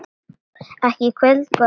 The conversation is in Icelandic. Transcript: Ekki í kvöld, góða mín.